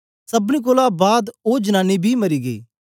सबनी कोलां बाद ओ जनानी बी मरी गेई